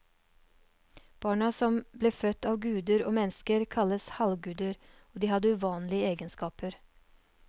Barna som ble født av guder og mennesker kalles halvguder, og de hadde uvanlige egenskaper.